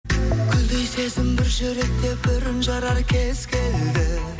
гүлдей сезім бір жүректе бүрін жарар кез келді